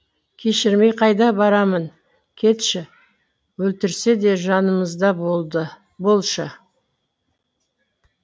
кешірмей қайда барамын кетші өлтірсе де жанымызда болшы